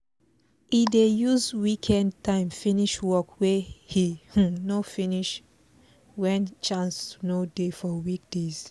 e dey use weekend time finish work wey e um no finish when chance no dey for weekdays